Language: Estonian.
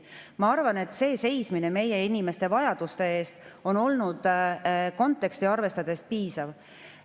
Ma arvan, et seismine meie inimeste vajaduste eest on olnud konteksti arvestades piisav.